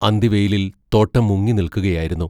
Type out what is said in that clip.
അന്തിവെയിലിൽ തോട്ടം മുങ്ങിനിൽക്കുകയായിരുന്നു.